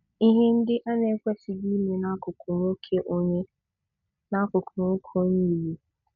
Ihe ndị ị na-ekwesịghị ime n'akụkụ nwoke onye n'akụkụ nwoke onye Igbo